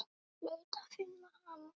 Ég hlaut að finna hana.